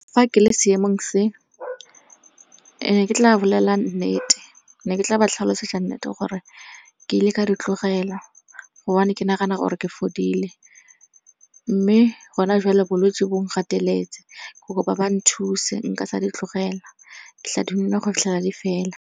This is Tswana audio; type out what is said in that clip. Fa ke le seemong se ne ke tla bolela nnete, ne ke tla ba tlhalosetsa nnete gore ke ile ka di tlogela gobane ke nagana gore ke fodile. Mme gona joale bolwetse bo nkgateletse, ke kopa ba nthuse nka sa di tlogela. Ke tla di nwa go fitlhela di fela.